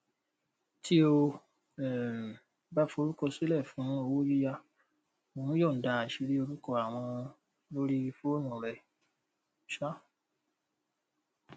tí o um bá forúkọsílẹ fún owó yíyá o ń yọǹda àṣírí orúkọ àwọn lórí fóònù rẹ um